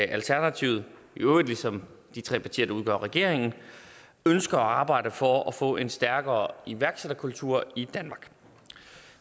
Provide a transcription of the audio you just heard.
at alternativet i øvrigt ligesom de tre partier der udgør regeringen ønsker at arbejde for at få en stærkere iværksætterkultur i danmark